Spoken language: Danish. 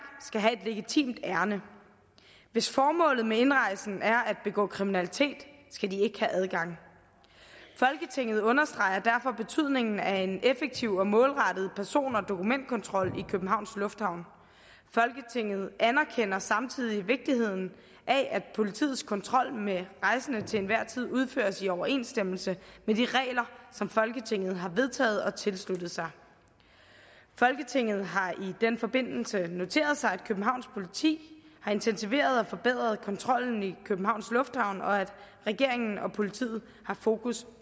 skal have et legitimt ærinde hvis formålet med indrejsen er at begå kriminalitet skal de ikke have adgang folketinget understreger derfor betydningen af en effektiv og målrettet person og dokumentkontrol i københavns lufthavn folketinget anerkender samtidig vigtigheden af at politiets kontrol med rejsende til enhver tid udføres i overensstemmelse med de regler som folketinget har vedtaget og tilsluttet sig folketinget har i den forbindelse noteret sig at københavns politi har intensiveret og forbedret kontrollen i københavns lufthavn og at regeringen og politiet har fokus